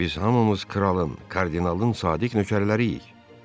Biz hamımız kralın, kardinalın sadiq nökərləriyik.